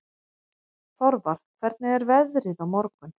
Þorvar, hvernig er veðrið á morgun?